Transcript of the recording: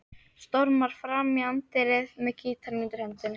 Stormar fram í anddyrið með gítarinn undir hendinni.